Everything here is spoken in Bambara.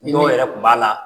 Ni y' yɛrɛ tun b'a la.